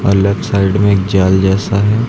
Left side में एक जाल जैसा है।